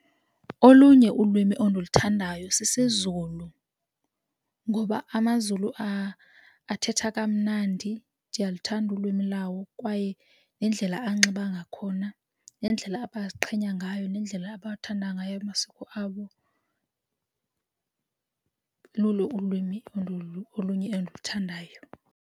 Olunye ulwimi ondiluthandayo sisiZulu ngoba amaZulu athetha kamnandi ndiyaluthanda ulwimi lawo kwaye nendlela anxiba ngakhona nendlela abaziqhenya ngayo nendlela abathanda ngayo amasiko abo, lulo ulwimi olunye endiluthandayo.